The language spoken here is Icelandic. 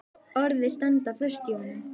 Orðin standa föst í honum.